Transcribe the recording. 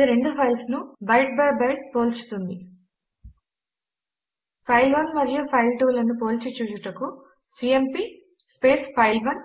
అది రెండు ఫైల్స్ ను బైట్ బై బైట్ పోల్చుతుంది ఫైల్1 మరియు ఫైల్2 లను పోల్చి చూచుటకు సీఎంపీ ఫైల్1